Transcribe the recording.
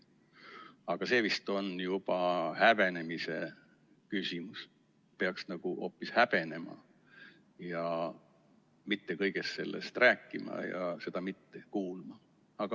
Aga see vist on juba häbenemise küsimus, peaks hoopis häbenema ja mitte kõigest sellest rääkima ja seda mitte kuulama.